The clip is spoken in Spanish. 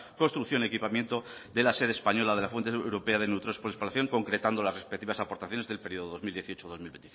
construcción equipamiento de la sede española de la fuente europea de neutrones por espalación concretando las respectivas aportaciones del periodo dos mil dieciocho dos mil